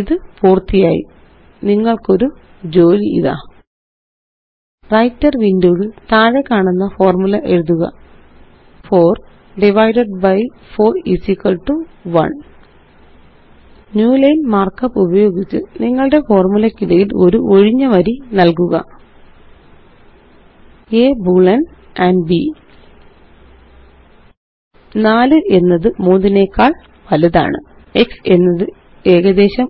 ഇത് പൂര്ത്തിയായി നിങ്ങള്ക്കൊരു ജോലി ഇതാ വ്രൈട്ടർ വിൻഡോ യില് താഴെക്കാണുന്ന ഫോര്മുല എഴുതുക 4 ഡിവൈഡഡ് ബി 4 1 ന്യൂലൈൻ മാര്ക്കപ്പ് ഉപയോഗിച്ച് നിങ്ങളുടെ ഫോര്മുലയ്ക്കിടയില് ഒരു ഒഴിഞ്ഞ വരി നല്കുക A ബോളിയൻ ആൻഡ് b 4 എന്നത് 3 നെക്കാള് വലുതാണ് x എന്നത് ഏകദേശം